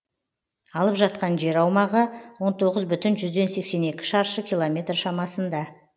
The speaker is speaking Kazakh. алып жатқан жер аумағы он тоғыз бүтін жүзден сексен екі шаршы километр шамасында